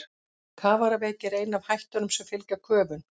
Kafaraveiki er ein af hættunum sem fylgja köfun.